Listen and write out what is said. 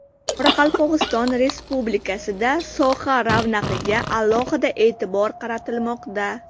Qoraqalpog‘iston Respublikasida soha ravnaqiga alohida e’tibor qaratilmoqda.